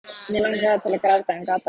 Mig langaði til að gráta en gat það ekki.